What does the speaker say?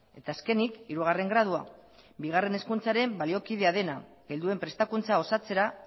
eta azkenik hirugarren gradua bigarren hezkuntzaren baliokidea dena helduen prestakuntza osatzera